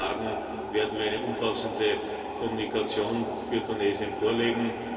In wenigen Tagen werden wir eine umfassende Kommunikation für Tunesien vorlegen.